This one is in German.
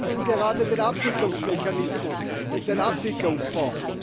Wir verhandeln gerade den Abwicklungsmechanismus und den Abwicklungsfonds.